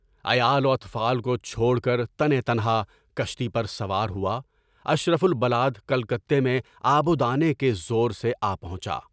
عیال و اطفال کو چھوڑ کر تنے تنہا کشتی پر سوار ہوا، اشرف البلاد کلکتہ میں آبو دانے کے زور سے پہنچا۔